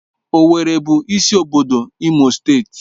Owerri bụ isi obodo Imo steeti